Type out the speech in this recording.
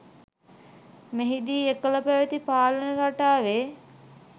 මෙහිදී එකල පැවති පාලන රටාවේ